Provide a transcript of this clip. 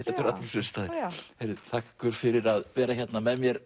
þetta eru athyglisverðir staðir heyrðu þakka ykkur fyrir að vera hérna með mér